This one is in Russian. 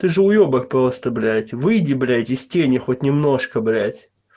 ты же уёбок просто блядь выйди блядь из тени хоть немножко блядь